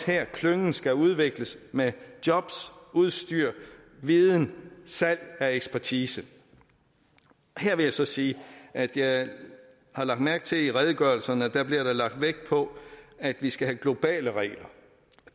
her klyngen skal udvikles med jobs udstyr viden salg af ekspertise her vil jeg så sige at jeg har lagt mærke til at der i redegørelserne bliver lagt vægt på at vi skal have globale regler